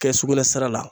Kɛsukunsira la